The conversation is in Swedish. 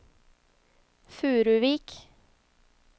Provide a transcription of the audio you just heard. Furuvik